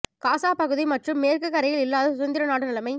காசா பகுதி மற்றும் மேற்குக் கரையில் இல்லாத சுதந்திர நாடு நிலைமை